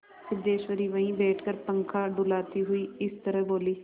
सिद्धेश्वरी वहीं बैठकर पंखा डुलाती हुई इस तरह बोली